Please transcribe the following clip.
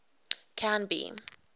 canby